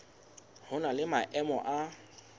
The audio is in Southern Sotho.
ho na le maemo a